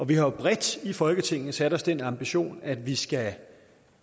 vi har jo bredt i folketinget sat os den ambition at vi skal